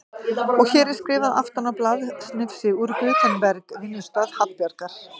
Og hér er skrifað aftan á blaðsnifsi úr Gutenberg, vinnustað Hallbjarnar